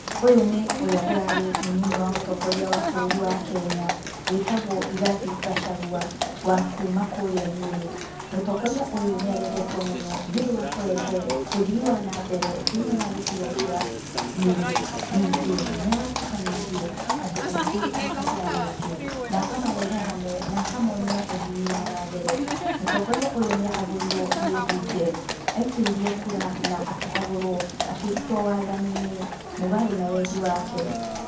Ũyũ nĩ ũrĩa ũrarĩ mũnini wa mũtongoria wa bũrũri wa Kenya wĩtagwo Rĩgathĩ Gachagua wa kuma kũrĩa Nyĩrĩ. Mũtongoria ũyũ nĩ arendetwo mũno nĩ ũndũ wa kũrehe ũthii wa na mbere thĩini wa gĩcigo kia Nyĩrĩ ningĩ nĩ aratukanĩtie andũ aingĩ a kabira nyingĩ na akamarehe hamwe na akamonia ũthii wa na mbere. Mũtongoria ũyũ nĩ ahagũrirwo nĩ mbunge aikĩirio kura na akĩhagũrwo akĩrutwo wathani-inĩ mũgaro na wendi wake.